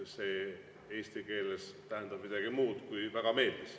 See eesti keeles tähendab midagi muud, kui et väga meeldis.